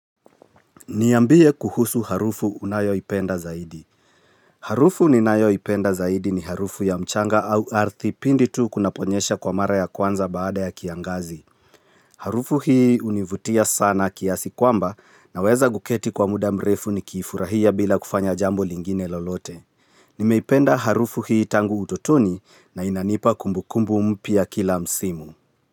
Niambie kuhusu harufu unayoipenda zaidi. Harufu ninayoipenda zaidi ni harufu ya mchanga au ardhi pindi tu kunaponyesha kwa mara ya kwanza baada ya kiangazi. Harufu hii hunivutia sana kiasi kwamba naweza kuketi kwa muda mrefu ni kiifurahia bila kufanya jambo lingine lolote. Nimeipenda harufu hii tangu utotoni na inanipa kumbukumbu mpia kila msimu.